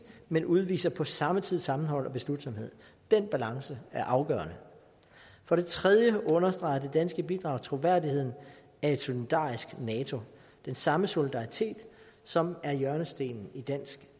men udviser på samme tid sammenhold og beslutsomhed den balance er afgørende for det tredje understreger det danske bidrag troværdigheden af et solidarisk nato den samme solidaritet som er hjørnestenen i dansk